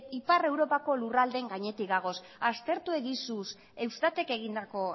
ipar europako lurraldeen gainetik gaude aztertu egizu eustatek egindako